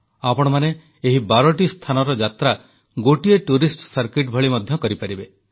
ଆପଣମାନେ ଏହି ବାରଟି ସ୍ଥାନର ଯାତ୍ରା ଗୋଟିଏ ପର୍ଯ୍ୟଟନ ସର୍କିଟ ଭଳି ମଧ୍ୟ କରିପାରିବେ